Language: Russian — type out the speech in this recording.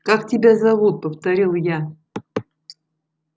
как тебя зовут повторил я